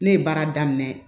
Ne ye baara daminɛ